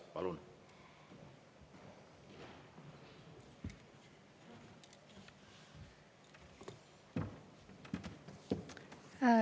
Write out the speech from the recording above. Palun!